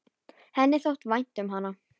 Henni þótti vænt um hana.